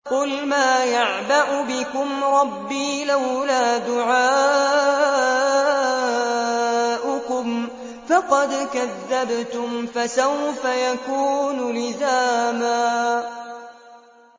قُلْ مَا يَعْبَأُ بِكُمْ رَبِّي لَوْلَا دُعَاؤُكُمْ ۖ فَقَدْ كَذَّبْتُمْ فَسَوْفَ يَكُونُ لِزَامًا